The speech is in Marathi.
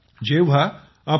जेव्हा आपण आपल्या